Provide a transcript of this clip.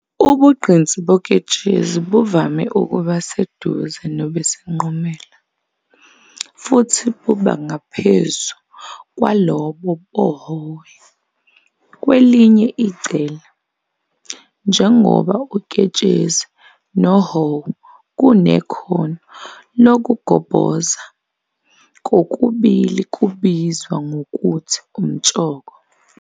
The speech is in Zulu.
Ubugqinsi boketshezi buvame ukuba seduze nobesinqumela, futhi buba ngaphezu kwalobo bohowo. Kwelinye icele, njengoba uketshezi nohowo kunekhono lokugobhoza, kokubili kubizwa ngokuthi umtshoko.